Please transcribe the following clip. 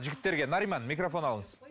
жігіттерге нариман микрофон алыңыз